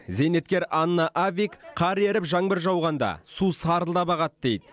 зейнеткер анна авви қар еріп жаңбыр жауғанда су сарылдап ағады дейді